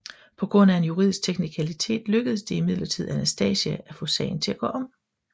På grund af en juridisk teknikalitet lykkedes det imidlertid Anastasia at få sagen til at gå om